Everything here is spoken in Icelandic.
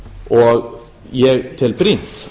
og ég tel brýnt